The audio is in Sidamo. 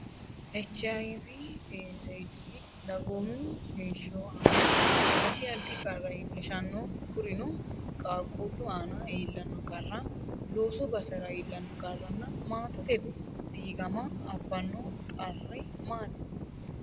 Ech. Ay.V/Eedisi dagoomu heeshsho aana addi addi qarra iillishshanno Kurino, qaaqquullu aana iillanno qarra, loosu basera iillanno qarranna maatete diigama abbanno qarri maati?